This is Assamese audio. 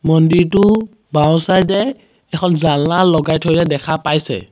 মন্দিৰটো বাওঁ চাইড এ এখন জালনা লগাই থৈ দিয়া দেখা পাইছে।